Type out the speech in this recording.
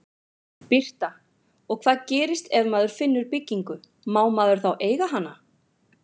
Birta: Og hvað gerist ef maður finnur byggingu, má maður þá eiga hana?